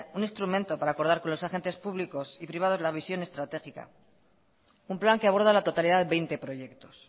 un instrumento para acordar con los agentes públicos y privados la visión estratégica un plan que aborda la totalidad de veinte proyectos